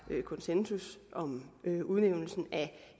konsensus om udnævnelsen af